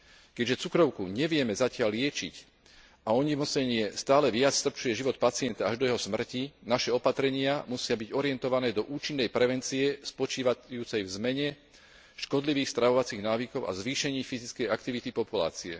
Keďže cukrovku nevieme zatiaľ liečiť a ochorenie stále viac strpčuje život pacienta až do jeho smrti, naše opatrenia musia byť orientované do účinnej prevencie spočívajúcej v zmene škodlivých stravovacích návykov a vo zvýšení fyzickej aktivity populácie.